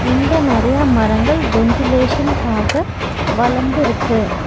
இங்க நெறையா மரங்கள் வென்டிலேசன்காக வளந்துருக்கு.